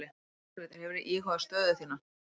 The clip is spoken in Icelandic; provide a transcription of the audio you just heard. Margrét: Hefurðu íhugað stöðu þína?